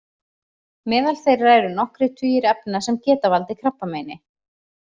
Meðal þeirra eru nokkrir tugir efna sem geta valdið krabbameini.